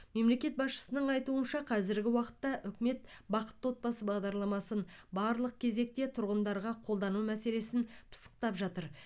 мемлекет басшысының айтуынша қазіргі уақытта үкімет бақытты отбасы бағдарламасын барлық кезекте тұрғындарға қолдану мәселесін пысықтап жатыр